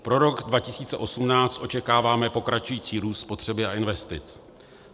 Pro rok 2018 očekáváme pokračující růst spotřeby a investic.